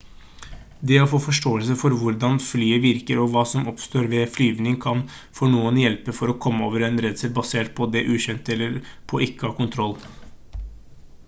det å få forståelse for hvordan flyet virker og hva som oppstår ved flyvning kan for noen hjelpe for å komme over en redsel basert på det ukjente eller på ikke å ha kontroll